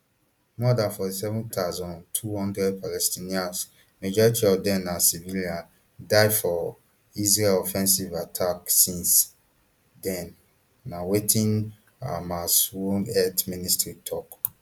more dan forty-seven thousand, two hundred palestinians majority of dem na civilians die for israel offensive attack since den na wetin hamasrun health ministry tok